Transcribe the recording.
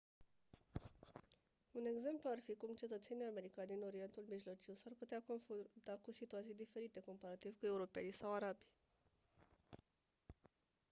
un exemplu ar fi cum cetățenii americani din orientul mijlociu s-ar putea confrunta cu situații diferite comparativ cu europenii sau arabii